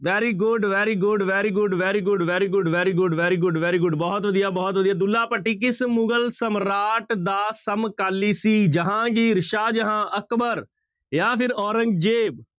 Very good, very good, very good, very good, very good, very good, very good, very good ਬਹੁਤ ਵਧੀਆ, ਬਹੁਤ ਵਧੀਆ ਦੁੱਲਾ ਭੱਟੀ ਕਿਸ ਮੁਗ਼ਲ ਸਮਰਾਟ ਦਾ ਸਮਕਾਲੀ ਸੀ ਜਹਾਂਗੀਰ, ਸ਼ਾਹਜਹਾਂ, ਅਕਬਰ ਜਾਂ ਫਿਰ ਔਰੰਗਜ਼ੇਬ।